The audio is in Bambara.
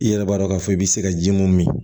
I yɛrɛ b'a dɔn k'a fɔ i bɛ se ka ji mun min